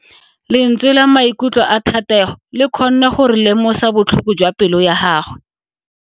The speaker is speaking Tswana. Lentswe la maikutlo a Thatego le kgonne gore re lemosa botlhoko jwa pelo ya gagwe.